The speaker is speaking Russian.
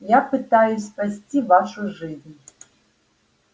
я пытаюсь спасти вашу жизнь